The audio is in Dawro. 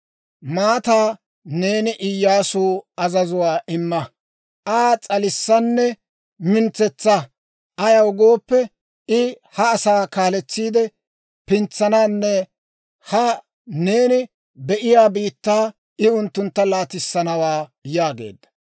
Maataa neeni Iyyaasuw azazuwaa imma; Aa s'alissanne mintsetsa; ayaw gooppe, I ha asaa kaaletsiide pintsananne ha neeni be'iyaa biittaa I unttuntta laatissanawaa› yaageedda.